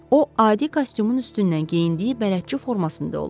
O adi kostyumun üstündən geyindiyi bələdçi formasında olub.